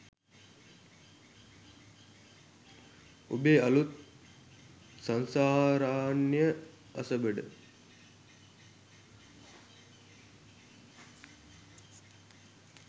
ඔබේ අලුත් "සංසාරාරණ්‍යය අසබඩ"